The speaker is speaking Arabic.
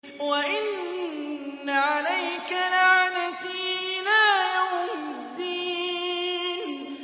وَإِنَّ عَلَيْكَ لَعْنَتِي إِلَىٰ يَوْمِ الدِّينِ